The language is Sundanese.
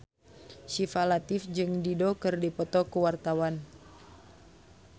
Syifa Latief jeung Dido keur dipoto ku wartawan